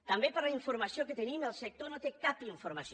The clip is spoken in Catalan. també per la informació que tenim el sector no té cap informació